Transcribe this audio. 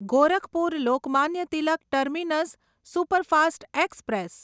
Gorakhpur Lokmanya Tilak terminus superfast express